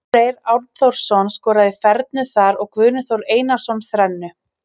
Elvar Freyr Arnþórsson skoraði fernu þar og Guðni Þór Einarsson þrennu.